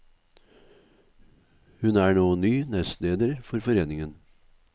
Hun er nå ny nestleder for foreningen.